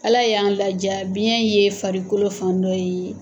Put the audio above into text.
Ala y'an la diya biyɛn ye farikolo fan dɔ ye.